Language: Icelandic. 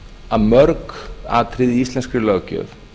að mörg atriði í íslenskri löggjöf